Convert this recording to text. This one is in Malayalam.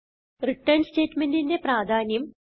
റിട്ടർൻ statementന്റെ പ്രാധാന്യം